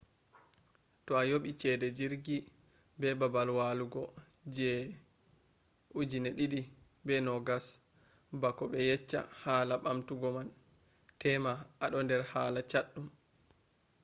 to a yobi chede jirgi be babal walugo je 2020 bako be yecca hala bamtugo man tema ado der hala chaddum